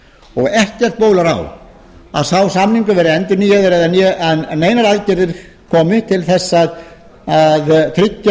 og ekkert bólar á að sá samningur verði endurnýjaður né að neinar aðgerðir komi til þess að